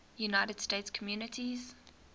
united states communities